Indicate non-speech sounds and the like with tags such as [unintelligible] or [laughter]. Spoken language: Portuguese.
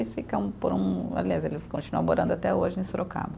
E fica [unintelligible] aliás, ele continua morando até hoje em Sorocaba.